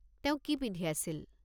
তেওঁ কি পিন্ধি আছিল?